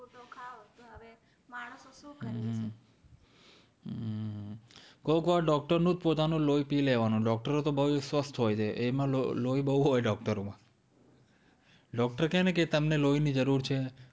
કોઈક વાર doctor નું જ પોતાનું લોહી પી લેવાનું doctor ઓ તો બોવ સ્વસ્થ હોય છે એમાં લોહી બોવ હોય doctor ઓ માં doctor કેય ને કે તમને લોહી ની જરૂર છે